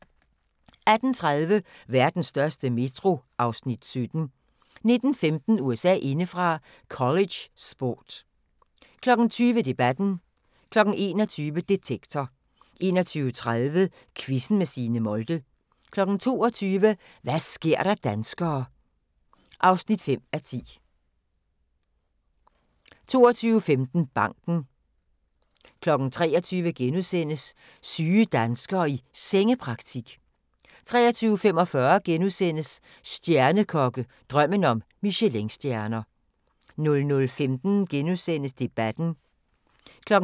18:30: Vestens største metro (Afs. 17) 19:15: USA indefra: College sport 20:00: Debatten 21:00: Detektor 21:30: Quizzen med Signe Molde 22:00: Hva' sker der danskere (5:10) 22:15: Banken 23:00: Syge danskere i Sengepraktik * 23:45: Stjernekokke – Drømmen om Michelinstjerner (1:3)* 00:15: Debatten *